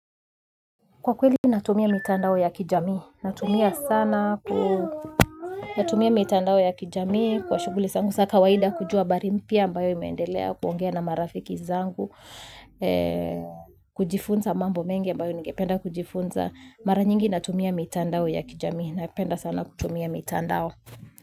Kwa kweli natumia mitandao ya kijamii. Natumia sana. Natumia mitandao ya kijami. Kwa shughuli zangu za kawaida kujua habari, pia ambayo imeendelea kuongea na marafiki zangu. Kujifunza mambo mengi ambayo ningependa kujifunza. Mara nyingi natumia mitandao ya kijamii. Napenda sana kutumia mitandao.